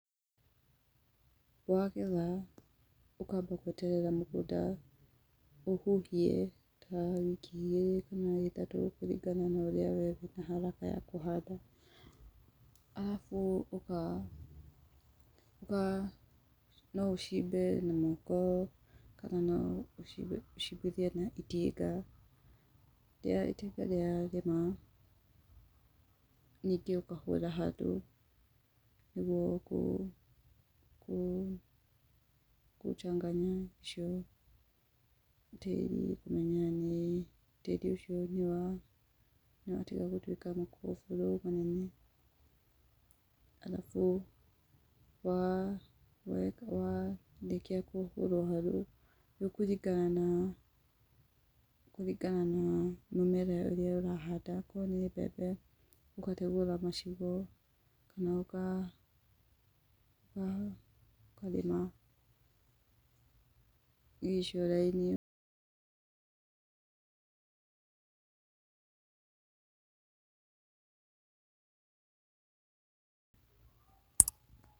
Wagetha, ũkamba gweterera mũgũnda ũhuhie, tawiki igĩrĩ kana ithatũ kũringa na ũrĩa wee wĩna haraka ya kũhanda. Arabu no ũcimbe na moko, kana ũcimbithie na itinga. Itinga rĩarĩma, ningĩ ũkahũra harũ nigũo kũ changanya icio tĩri, na tĩri ũcio nĩwatiga gũtuika makoburũ manene. Arabu warĩkia kũhũrwo harũ, nĩũkũringana na, kũringana na mĩmera ĩrĩa ũrahanda. Akorwo nĩ mbembe, ũkategũra macigo kana ũkarĩma icio raini.